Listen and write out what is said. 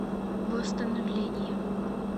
восстановление